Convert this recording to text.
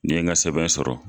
Ni ye n ka sɛbɛn sɔrɔ